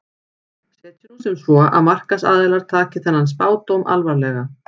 Setjum nú sem svo að markaðsaðilar taki þennan spádóm alvarlega.